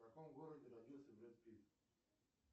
в каком городе родился брэд питт